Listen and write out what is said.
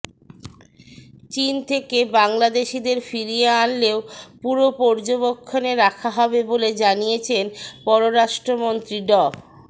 চীন থেকে বাংলাদেশিদের ফিরিয়ে আনলেও পুরো পর্যবেক্ষণে রাখা হবে বলে জানিয়েছেন পররাষ্ট্রমন্ত্রী ড